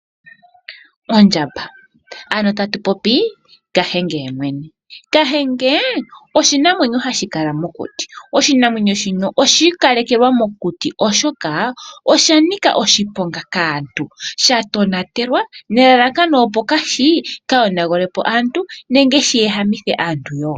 Ondjamba. Ano tatupopi kahenge yemwene . Kahenge oshinano hashi kala mokuti . Oshinamwenyo shino oshi ikalekelwa mokuti oshoka oshanika oshiponga kaantu . Sha tonatelwa nelalakano opo kashi kayonagulepo aantu nenge shi ehamithe aantu